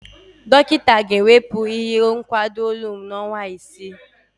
Dọkịta ga-ewepụ ihe nkwado olu m n'ọnwa isii.